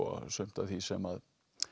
sumt af því sem